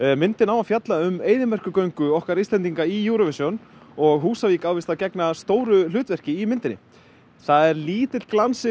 myndin á að fjalla um eyðimerkurgöngu okkar Íslendinga í Eurovision og Húsavík á víst að gegna stóru hlutverki í myndinni það er lítill glans yfir